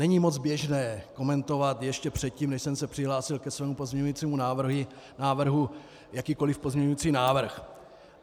Není moc běžné komentovat ještě předtím, než jsem se přihlásil ke svému pozměňovacímu návrhu, jakýkoli pozměňovací návrh.